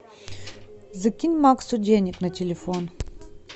закинь максу денег на телефон